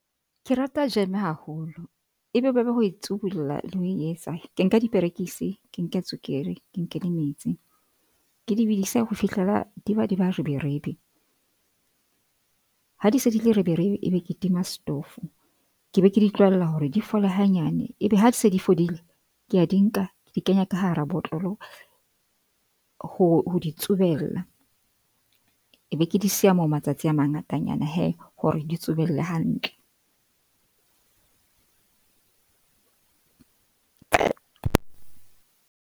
Ke rata jeme haholo e bobebe ho e tsubulla le ho e etsa. Ke nka diperekisi, ke nke tswekere, ke nke le metsi, ke di bidise ho fihlela di be di ba reberebe, ha di se di le reberebe eba ke tima stofo. Ke be ke di tlohella hore di fole hanyane, ebe ha di se di fodile, ke a di nka di kenya ka hara botlolo ho di tsubella. Ke be ke di siya moo matsatsi a mangatanyana hee hore di tsubelle hantle.